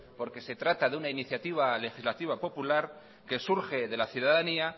porque se trata de una iniciativa legislativa popular isiltasuna mesedez que surge de la ciudadanía